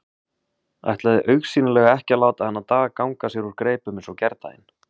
Ætlaði augsýnilega ekki að láta þennan dag ganga sér úr greipum eins og gærdaginn.